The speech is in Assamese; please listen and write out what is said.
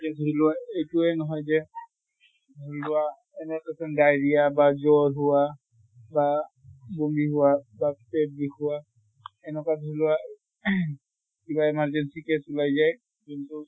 এতিয়া দ্জৰি লোৱা এইটোয়ে নহয় যে ধৰি লোৱা এনে patient diarrhea বা জ্বৰ হোৱা বা বমি হোৱা বা পেত বিষোৱা এনকা ধৰি লোৱা কিবা emergency case ওলাই যায়। কিন্তু